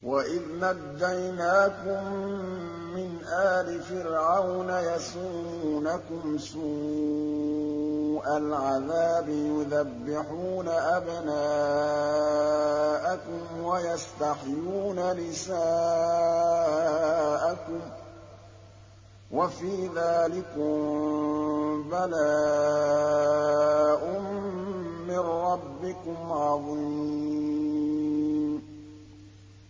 وَإِذْ نَجَّيْنَاكُم مِّنْ آلِ فِرْعَوْنَ يَسُومُونَكُمْ سُوءَ الْعَذَابِ يُذَبِّحُونَ أَبْنَاءَكُمْ وَيَسْتَحْيُونَ نِسَاءَكُمْ ۚ وَفِي ذَٰلِكُم بَلَاءٌ مِّن رَّبِّكُمْ عَظِيمٌ